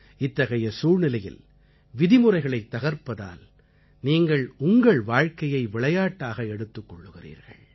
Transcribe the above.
இத்தகைய சூழ்நிலையில் விதிமுறைகளைத் தகர்ப்பதால் நீங்கள் உங்கள் வாழ்க்கையை விளையாட்டாக எடுத்துக் கொள்கிறீர்கள்